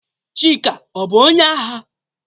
Chika ọ bu onye agha?